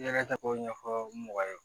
I yɛrɛ ta k'o ɲɛfɔ mɔgɔ ye